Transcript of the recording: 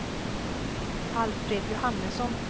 Alfred Johannesson